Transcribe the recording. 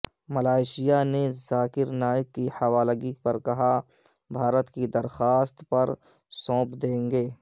Malaysia نے ذاکر نائیک کی حوالگی پر کہا بھارت کی درخواست پر سونپ دیں گے